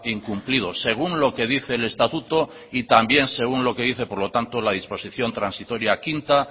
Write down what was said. incumplido según lo que dice el estatuto y también según lo que dice por lo tanto la disposición transitoria quinta